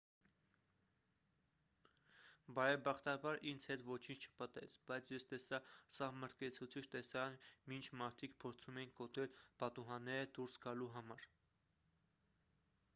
բարեբախտաբար ինձ հետ ոչինչ չպատահեց բայց ես տեսա սահմռկեցուցիչ տեսարան մինչ մարդիկ փորձում էին կոտրել պատուհանները դուրս գալու համար